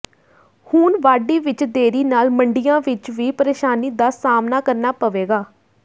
ਹੁਣ ਵਾਢੀ ਵਿਚ ਦੇਰੀ ਨਾਲ ਮੰਡੀਆਂ ਵਿਚ ਵੀ ਪਰੇਸ਼ਾਨੀ ਦਾ ਸਾਹਮਣਾ ਕਰਨਾ ਪਵੇਗਾ